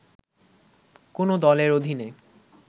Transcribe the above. “কোন দলের অধীনে